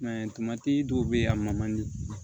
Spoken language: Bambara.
I m'a ye dɔw be yen a ma di